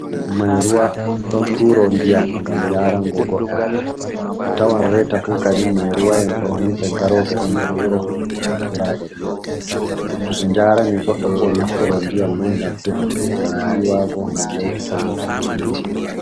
Mai-ruwa ɗon turo ndiyam ngam yarango goɗɗo. Atawan reta fu kadin mai-ruwa en ɗo himɓe garoɓe on nder wuro be fuɗɗa turago ndiyam. To ɓe njarani goɗɗo bo naftoro ndiyam mai ngam defuki, ngam yiwago, ngam lotugo limse e'ko nandi be mai.